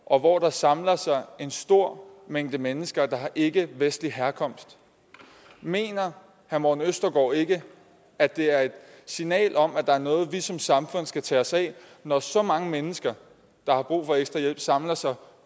og hvor der samler sig en stor mængde mennesker der har ikkevestlig herkomst mener herre morten østergaard ikke at det er et signal om at der er noget vi som samfund skal tage os af når så mange mennesker der har brug for ekstra hjælp samler sig